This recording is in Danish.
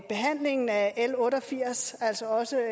behandlingen af l otte og firs altså også